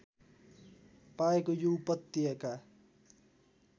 पाएको यो उपत्यका